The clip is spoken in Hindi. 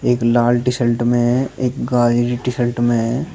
एक लाल टी शर्ट में है एक गाजरी टी शर्ट में है।